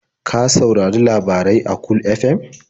Ka saurari labarai a Cool FM?